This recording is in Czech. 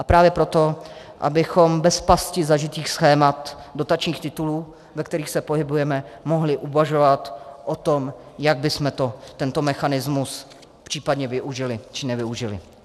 A právě proto, abychom bez pasti zažitých schémat dotačních titulů, ve kterých se pohybujeme, mohli uvažovat o tom, jak bychom tento mechanismus případně využili, či nevyužili.